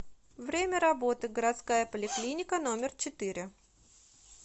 время работы городская поликлиника номер четыре